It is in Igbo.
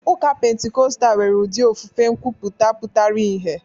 Ụka Pentikọstal nwere ụdị ofufe nkwuputa pụtara ìhè.